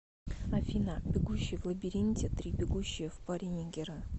афина бегущий в лабиринте три бегущие в паре нигеры